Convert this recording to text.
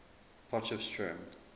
potchefstroom